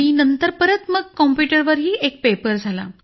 नंतर सर परत कॉम्प्युटर वरही एक पेपर झाला